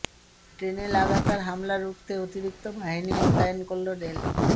ট্রেনে লাগাতার হামলা রুখতে অতিরিক্ত বাহিনী মোতায়েন করল রেল